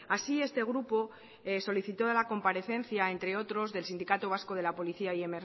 así este grupo solicitaba la comparecencia entre otros del sindicato vasco de la policía y